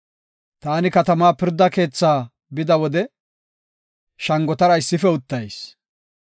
Taani katamaa pirda keethaa bida wode, shangotara issife uttayis.